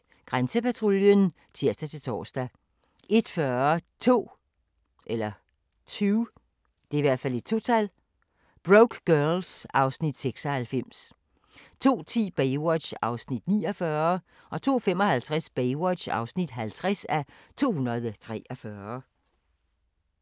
01:10: Grænsepatruljen (tir-tor) 01:40: 2 Broke Girls (Afs. 96) 02:10: Baywatch (49:243) 02:55: Baywatch (50:243)